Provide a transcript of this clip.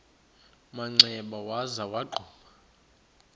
manxeba waza wagquma